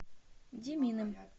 деминым